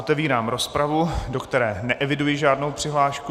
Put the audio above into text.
Otevírám rozpravu, do které neeviduji žádnou přihlášku.